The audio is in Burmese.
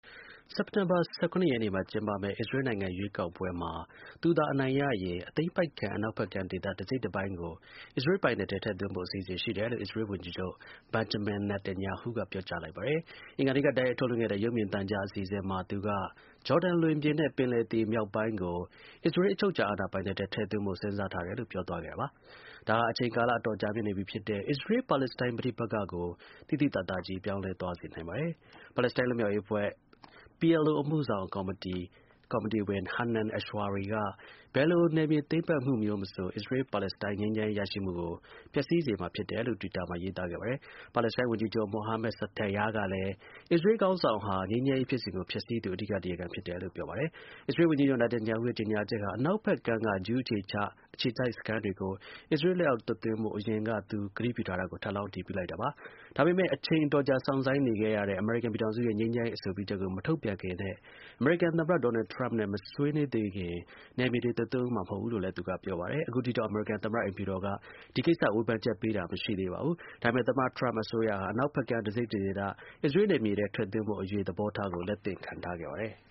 စက်တင်ဘာ ၁၇ရက်နေ့မှာ ကျင်းပမယ့် အစ္စရေးနိုင်ငံ ရွေးကောက်ပွဲမှာ သူသာ အနိုင်ရရင် သိမ်းပိုက်ခံ အနောက်ဖက်ကမ်း ဒေသ တစ်စိတ်တစ်ပိုင်းကို အစ္စရေးပိုင်နက်ထဲ ထည့်သွင်းဖို့ အစီအစဉ်ရှိတယ်လို့ အစ္စရေး ဝန်ကြီးချုပ် Benjamin Netanyahu က ပြောကြားလိုက်ပါတယ်။ အင်္ဂါနေ့က တိုက်ရိုက်ထုတ်လွှင့်ခဲ့တဲ့ ရုပ်မြင်သံကြား အစီအစဉ်မှာ သူက ဂျော်ဒန် လွင်ပြင်နဲ့ ပင်လယ်သေ မြောက်ပိုင်းကို အစ္စရေး အချုပ်အခြာအာဏာပိုင်နက်ထဲ ထည့်သွင်းဖို့စဉ်းစားထားတယ်လို့ ပြောသွားခဲ့တာပါ။ ဒါဟာ အချိန်ကာလ အတော်ကြာမြင့်နေပြီဖြစ်တဲ့ အစ္စရေး-ပါလက်စတိုင်း ပဋိပက္ခကို သိသိသာသာကြီး ပြောင်းလဲသွားစေနိုင်ပါတယ်။ ပါလက်စတိုင်း လွတ်မြောက်ရေးအဖွဲ့ (PLO) အမှှုဆောင် ကော်မတီဝင် Hanan Ashrawi က ဘယ်လို နယ်မြေ သိမ်းပိုက်မှုမဆို အစ္စရေး-ပါလက်စတိုင်း ငြိမ်းချမ်းရေး ရရှိမှုကို ပျက်စီးစေမှာ ဖြစ်တယ်လို့ တွစ်တာမှာ ရေးသားခဲ့ပါတယ်။ ပါလက်စတိုင်း ဝန်ကြီးချုပ် Mohammad Shtayyeh ကလည်း အစ္စရေးခေါင်းဆောင်ဟာ ငြိမ်းချမ်းရေး ဖြစ်စဉ်ကို ဖျက်ဆီးသူ အဓိက တရားခံ ဖြစ်တယ်လို့ ပြောပါတယ်။ အစ္စရေး ဝန်ကြီးချုပ် Netanyahu ရဲ့ ကြေညာချက်ဟာ အနောက်ဖက် ကမ်းက ဂျူး အခြေချ အခြေစိုက် စခန်းတွေကို အစ္စရေး လက်အောင် သွတ်သွင်းဖို့ အရင်က သူ ကတိပြုထားကို ထပ်လောင်း အတည်ပြုလိုက်တာပါ။ဒါပေမဲ့ အချိန် အတော်ကြာ စောင့်ဆိုင်းနေရတဲ့ အမေရိကန် ပြည်ထောင်စုရဲ့ ငြိမ်းချမ်းရေး အဆိုပြုချက်ကို မထုတ်ပြန်ခင်နဲ့ အမေရိကန် သမ္မတ ဒေါ်နယ်ထရမ့်နဲ့ မဆွေးနွေးသေးခင် နယ်မြေတွေ သွတ်သွင်းဦးမှာ မဟုတ်ဘူးလို့လည်း သူက ပြောပါတယ်။ အခုထိတော့ အမေရိကန် သမ္မတ အိမ်ဖြူတော်က ဒီကိစ္စ ဝေဖန်ချက်ပေးတာ မရှိသေးပါဘူး။ ဒါပေမဲ့ သမ္မတ ထရမ့် အစိုးရဟာ အနောက်ဖက် ကမ်း တစ်စိတ်တစ်ဒေသ အစ္စရေးနယ်မြေထဲ ထည့်သွင်းဖို့အရေး သဘောထားကို လက်သင့်ခံထားခဲ့ပါတယ်။